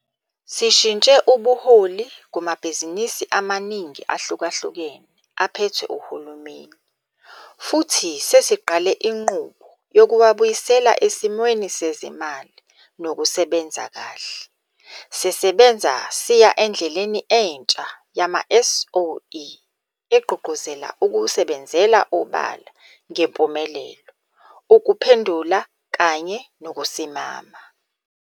Sishintshe ubuholi kumabhizinisi amaningi ahlukahlukene aphethwe uhulumeni, futhi sesiqale inqubo yokuwabuyisela esimweni sezimali nokusebenza kahle. Sisebenza siya endleleni entsha yama-SOE egqugquzela ukusebenzela obala ngempumelelo, ukuphendula kanye nokusimama.